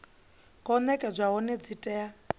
khou nekedzwa hone dzi tea